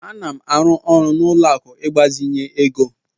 M na-arụ ọrụ na ụlọ akụ ịgbazinye ego.